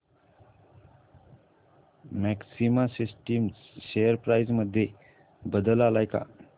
maxima systems share price मध्ये बदल आलाय का